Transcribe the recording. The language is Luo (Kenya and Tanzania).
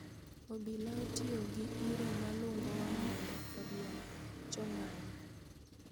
Obila otiyo gi iro malungo wang' mondo oriemb jong'anyo